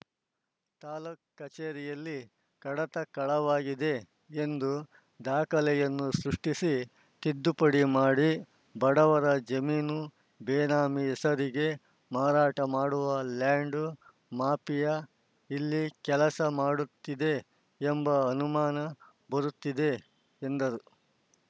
ತಾಲೂಕು ಕಚೇರಿಯಲ್ಲಿ ಕಡತ ಕಳವಾಗಿದೆ ಎಂದು ದಾಖಲೆಯನ್ನು ಸೃಷ್ಟಿಸಿ ತಿದ್ದುಪಡಿ ಮಾಡಿ ಬಡವರ ಜಮೀನು ಬೇನಾಮಿ ಹೆಸರಿಗೆ ಮಾರಾಟ ಮಾಡುವ ಲ್ಯಾಂಡ್‌ ಮಾಫಿಯಾ ಇಲ್ಲಿ ಕೆಲಸ ಮಾಡುತ್ತಿದೆ ಎಂಬ ಅನುಮಾನ ಬರುತ್ತಿದೆ ಎಂದರು